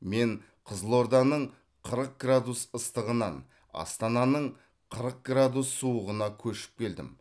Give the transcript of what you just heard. мен қызылорданың қырық градус ыстығынан астананың қырық градус суығына көшіп келдім